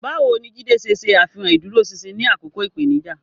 Báwo ni Jide ṣe ṣe àfihàn ìdúróṣinṣin ní àkókò ìpèníjà?